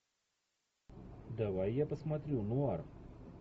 давай я посмотрю нуар